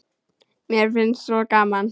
Mér fannst svo gaman.